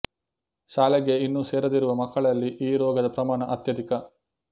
ಶಾಲೆಗೆ ಇನ್ನೂ ಸೇರದಿರುವ ಮಕ್ಕಳಲ್ಲಿ ಈ ರೋಗದ ಪ್ರಮಾಣ ಅತ್ಯಧಿಕ